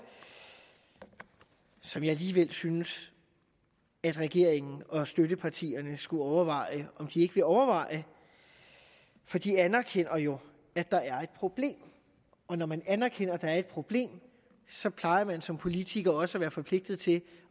som jeg alligevel synes at regeringen og støttepartierne skulle overveje om de ikke vil overveje for de anerkender jo at der er et problem og når man anerkender at der er et problem så plejer man som politiker også at være forpligtet til